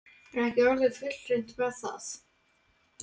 Er ekki orðið fullreynt með það?